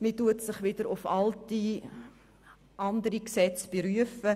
Man beruft sich wiederum auf andere Gesetze.